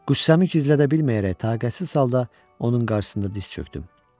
Qüssəmi gizlədə bilməyərək taqətsiz halda onun qarşısında diz çökdüm.